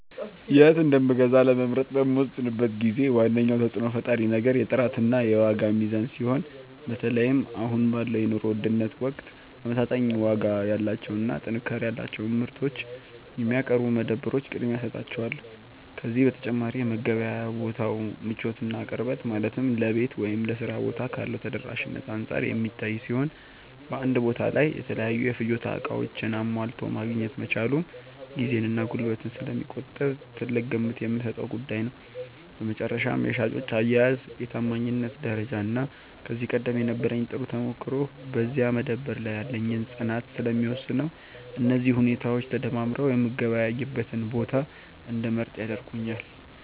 የት እንደምገዛ ለመምረጥ በምወስንበት ጊዜ ዋነኛው ተጽዕኖ ፈጣሪ ነገር የጥራትና የዋጋ ሚዛን ሲሆን፣ በተለይም አሁን ባለው የኑሮ ውድነት ወቅት ተመጣጣኝ ዋጋ ያላቸውንና ጥንካሬ ያላቸውን ምርቶች የሚያቀርቡ መደብሮች ቅድሚያ እሰጣቸዋለሁ። ከዚህ በተጨማሪ የመገበያያ ቦታው ምቾትና ቅርበት፣ ማለትም ለቤት ወይም ለሥራ ቦታ ካለው ተደራሽነት አንጻር የሚታይ ሲሆን፣ በአንድ ቦታ ላይ የተለያዩ የፍጆታ ዕቃዎችን አሟልቶ ማግኘት መቻሉም ጊዜንና ጉልበትን ስለሚቆጥብ ትልቅ ግምት የምሰጠው ጉዳይ ነው። በመጨረሻም የሻጮች አያያዝ፣ የታማኝነት ደረጃና ከዚህ ቀደም የነበረኝ ጥሩ ተሞክሮ በዚያ መደብር ላይ ያለኝን ፅናት ስለሚወስነው፣ እነዚህ ሁኔታዎች ተደማምረው የምገበያይበትን ቦታ እንድመርጥ ያደርጉኛል።